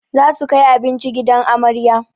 Za su kai abinci gidan amarya